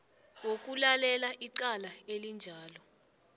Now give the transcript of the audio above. wokulalela icala elinjalo